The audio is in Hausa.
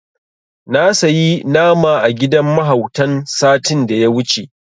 Na sayi nama a gidan mahautan satin da ya wuce.